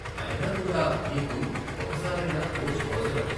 అయినా కూడా నీకు ఒక సారైనా కోచ్ అవసరం.